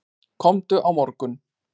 Komdu á morgun.